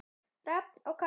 Rafn og Katrín.